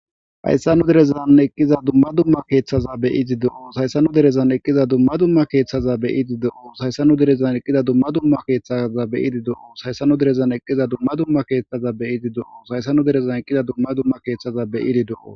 hayssanu derezan eqqiza dumma dumma keeththaza beidi do7o hayssanu derezan eqqiza dumma dumma keeththaza beyidi doo sayssanu derezan eqqiza dumma dumma keeththaza beyidi do7o shaysanu derezan eqqiza dumma dumma keeththaza beyidi do7o hayssanu derezan eqqiza dumma dumma keeththaza beyidi do7o